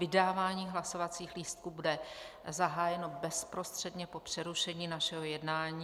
Vydávání hlasovacích lístků bude zahájeno bezprostředně po přerušení našeho jednání.